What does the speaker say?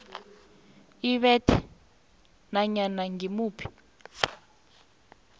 ibethe nanyana ngimuphi